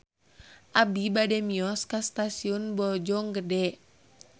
Abi bade mios ka Stasiun Bojonggede